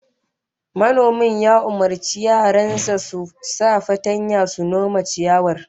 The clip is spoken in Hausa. Manomin ya umurci yaran sa su sa fatanya su nome ciyawar